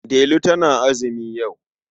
Delu tana azumi yau.